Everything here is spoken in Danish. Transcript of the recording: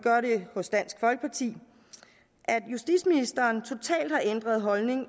gør det hos dansk folkeparti at justitsministeren totalt har ændret holdning